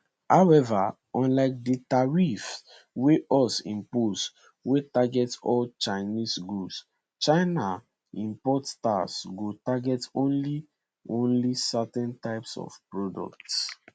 however unlike di tariffs wey us impose wey target all chinese goods china import taxes go target only only certain types of products